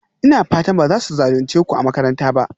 Ina fatan ba za su zalunce ku a makaranta ba?